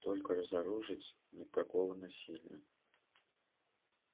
только разоружить никакого насилия